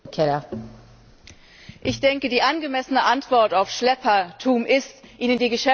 Ich denke, die angemessene Antwort auf Schleppertum ist, ihnen die Geschäftsgrundlage wegzunehmen.